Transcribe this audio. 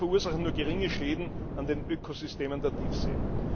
Diese verursachen nur geringe Schäden an den Ökosystemen der Tiefsee.